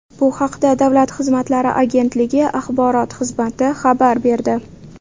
Bu haqda Davlat xizmatlari agentligi axborot xizmati xabar berdi.